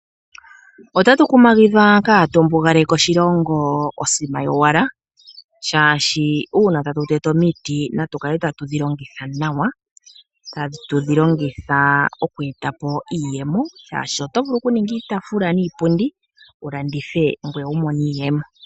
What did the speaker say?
Otatu kumagidhwa kaatu mbugaleke oshilongo osima yowala, oshoka uuna tatu tete omiti natu kale tatu dhi longitha nawa tatu dhi longitha oku eta po iiyemo, oshoka oto vulu okuninga iitaafula niipundi wu landithe ngoye wu mone iiyemo.